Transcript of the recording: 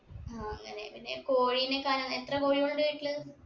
ആ അങ്ങനെ പിന്നെ കോഴിനെകാനെ എത്ര കോഴികളുണ്ട് വീട്ടിൽ